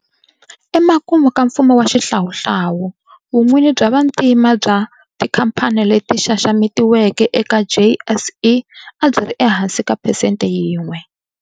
Emakumu ka mfumo wa xihlawuhlawu, vun'wini bya vantima bya tikhamphani leti xaxametiweke eka JSE a byi ri ehansi ka phesente yin'we.